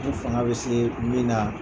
N fanga bɛ se min na.